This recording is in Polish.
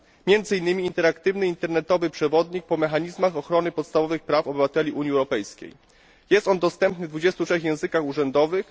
między innymi interaktywny internetowy przewodnik po mechanizmach ochrony podstawowych praw obywateli Unii Europejskiej. Jest on dostępny w 23 językach urzędowych.